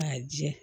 K'a jɛ